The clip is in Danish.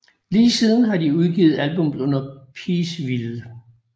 Lige siden har de udgivet albums under Peaceville